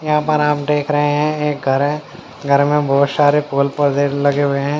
यहाँ पर आप देख रहे हैं एक घर है घर में बहुत सारे फूल पौधे लगे हुए हैं।